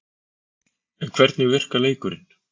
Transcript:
En hvernig virkar leikurinn?